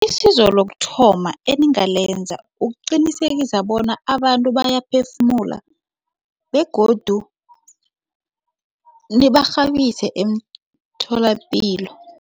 Isizo lokuthoma eningalenza ukuqinisekisa bona abantu bayaphefumula begodu nibarhabise emtholapilo.